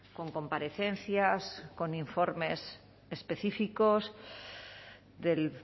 con comparecencias con informes específicos del